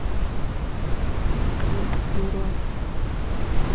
принт бюро